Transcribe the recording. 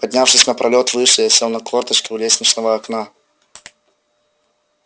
поднявшись на пролёт выше я сел на корточки у лестничного окна